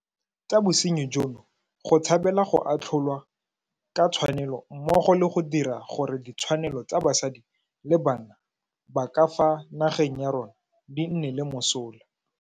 Tsa bosenyi jono go tshabela go atlholwa ka tshwanelo mmogo le go dira gore ditshwanelo tsa basadi le bana ba ka fa nageng ya rona di nne le mosola.